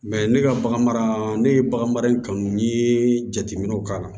ne ka bagan mara ne ye bagan mara in kanu n'i ye jateminɛw k'a la